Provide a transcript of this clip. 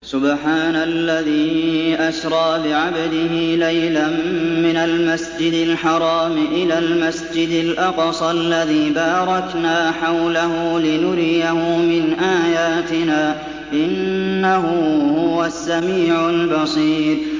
سُبْحَانَ الَّذِي أَسْرَىٰ بِعَبْدِهِ لَيْلًا مِّنَ الْمَسْجِدِ الْحَرَامِ إِلَى الْمَسْجِدِ الْأَقْصَى الَّذِي بَارَكْنَا حَوْلَهُ لِنُرِيَهُ مِنْ آيَاتِنَا ۚ إِنَّهُ هُوَ السَّمِيعُ الْبَصِيرُ